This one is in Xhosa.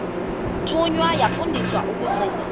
thunywa yafundiswa ukugcina